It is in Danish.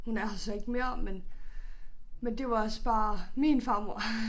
Hun er her så ikke mere men men det var også bare min farmor